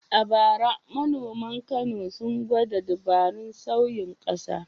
A bara manoman Kano sun gwada dabarun sauyin ƙasa.